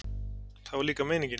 Það var líka meiningin.